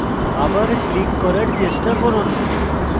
আবার click করার চেষ্টা করুন